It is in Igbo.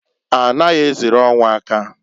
A naghị eziri ọnwụ aka.